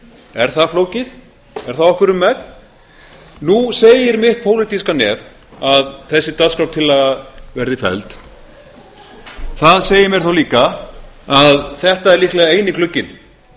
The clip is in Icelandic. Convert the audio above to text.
er það flókið er það okkur um megn nú segir mitt pólitíska nef að þessi dagskrártillaga verði felld það segir mér þá líka að þetta er líklega eini glugginn